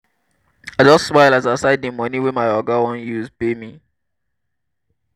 i just smile as i sight dey moni wey my oga wan use pay me.